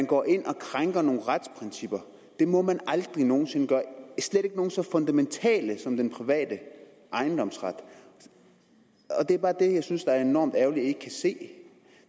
går ind og krænker nogle retsprincipper det må man aldrig nogen sinde gøre slet ikke nogle så fundamentale som den private ejendomsret det er bare det jeg synes er enormt ærgerligt at man ikke kan se